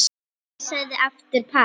Hann sagði aftur pass.